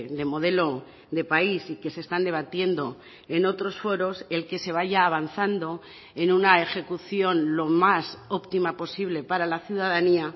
de modelo de país y que se están debatiendo en otros foros el que se vaya avanzando en una ejecución lo más óptima posible para la ciudadanía